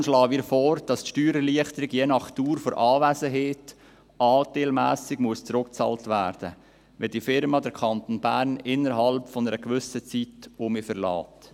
Deshalb schlagen wir vor, dass die Steuererleichterung nach Dauer der Anwesenheit anteilmässig zurückbezahlt werden muss, wenn die Unternehmung den Kanton Bern innerhalb eines gewissen Zeitraums verlässt.